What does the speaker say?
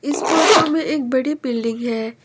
इस फोटो में एक बड़ी बिल्डिंग है।